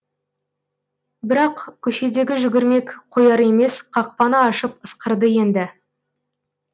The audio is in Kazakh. бірақ көшедегі жүгірмек қояр емес қақпаны ашып ысқырды енді